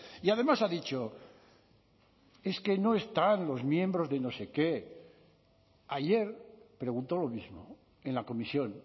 y además ha dicho es que no están los miembros de no sé qué ayer preguntó lo mismo en la comisión